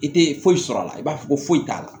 I tɛ foyi sɔrɔ a la i b'a fɔ ko foyi t'a la